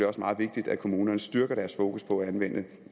også meget vigtigt at kommunerne styrker deres fokus på at anvende